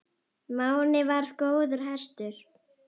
Máni varð góður hestur.